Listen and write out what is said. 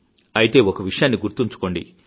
అయితే ఒక విషయాన్ని గుర్తుంచుకోండి